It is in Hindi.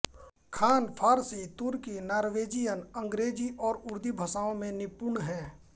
खान फारसी तुर्की नॉर्वेजियन अंग्रेजी और उर्दू भाषाओं में निपुण है